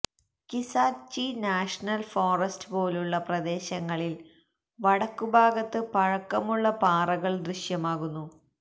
Kisatchie national forest പോലുള്ള പ്രദേശങ്ങളിൽ വടക്കുഭാഗത്ത് പഴക്കമുള്ള പാറകൾ ദൃശ്യമാകുന്നു